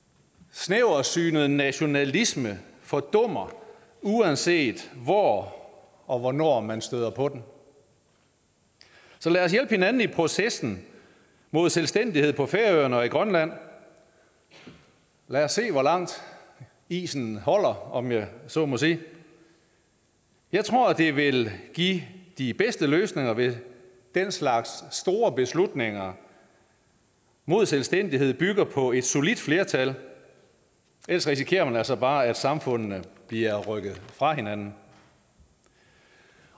snæversynet nationalisme fordummer uanset hvor og hvornår man støder på den så lad os hjælpe hinanden i processen mod selvstændighed på færøerne og i grønland lad os se hvor langt isen holder om jeg så må sige jeg tror det vil give de bedste løsninger hvis den slags store beslutninger mod selvstændighed bygger på et solidt flertal ellers risikerer man altså bare at samfundene bliver rykket fra hinanden